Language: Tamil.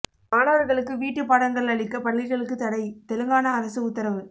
மாணவர்களுக்கு வீட்டு பாடங்கள் அளிக்க பள்ளிகளுக்கு தடை தெலுங்கானா அரசு உத்தரவு